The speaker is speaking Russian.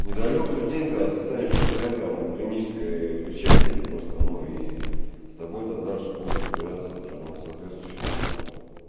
недалёк тот день когда ты станешь пациентом клинической лечебницы просто но и с тобой там дальше будут разбираться уже но соответствующим образом